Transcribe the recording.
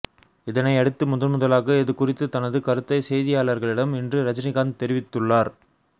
இதனை அடுத்து முதன்முதலாக இது குறித்து தனது கருத்தை செய்தியாளர்களிடம் இன்று ரஜினிகாந்த் தெரிவித்துள்ளார்